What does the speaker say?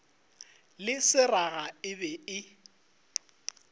le seraga e be e